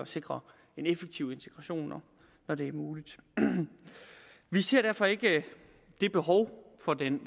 sikre en effektiv integration når det muligt vi ser derfor ikke det behov for den